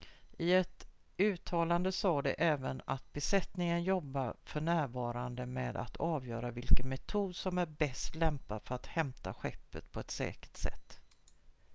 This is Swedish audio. "i ett uttalande sa de även att "besättningen jobbar för närvarande med att avgöra vilken metod som är bäst lämpad för att hämta skeppet på ett säkert sätt"".